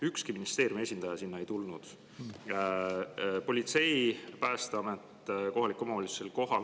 Ükski ministeeriumi esindaja sinna ei tulnud, aga politsei, Päästeamet ja kohalik omavalitsus olid kohal.